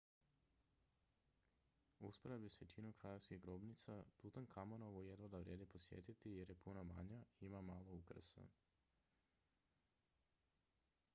u usporedbi s većinom kraljevskih grobnica tutankamonovu jedva da vrijedi posjetiti jer je puno manja i ima malo ukrasa